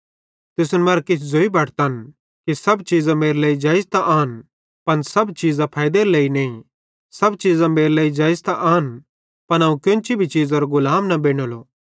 तुसन मरां किछ ज़ोई बटतन कि सब चीज़ां मेरे लेइ जेइज़ त आन पन सब चीज़ां फैइदेरी नईं सब चीज़ां मेरे लेइ जेइज़ त आन पन अवं कोन्ची भी चीज़रो गुलाम बेनेलो